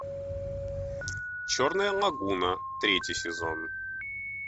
черная лагуна третий сезон